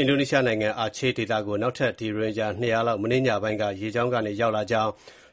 အင်ဒိုနီးရှားနိုင်ငံ အာချေးဒေသကို နောက်ထပ် ရိုဟင်ဂျာ ၂၀၀ လောက် မနေ့ညပိုင်းက ရေကြောင်းကနေ ရောက်လာကြောင်း